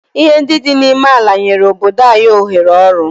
Ihe ndị dị n'ime ala nyere obodo anyị ohere ọrụ?